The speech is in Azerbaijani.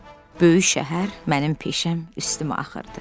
Böyük şəhər, mənim peşəm üstümə axırdı.